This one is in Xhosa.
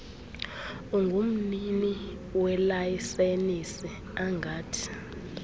ungumnini welayisenisi angathi